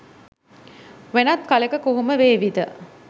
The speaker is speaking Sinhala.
වෙනත් කලෙක කොහොම වේවිද?